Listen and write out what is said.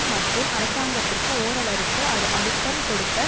மற்றும் அரசாங்கத்திற்கு ஓரளவிற்கு அழுத்தம் கொடுக்க